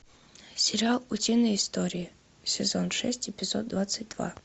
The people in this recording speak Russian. сериал утиные истории сезон шесть эпизод двадцать два